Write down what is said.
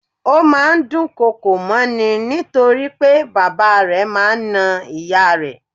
Ó máa ń dùn kọkò mọ́ ni nítorí pé bàbá rẹ̀ máa ń na ìyá rẹ̀.